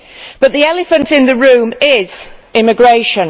But the elephant in the room is immigration.